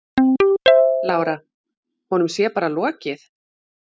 Lára: Honum sé bara lokið?